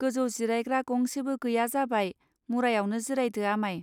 गोजौ जिरायग्रा गंसेबो गैया जाबाय मुरायावनो जिरायदो आमाय.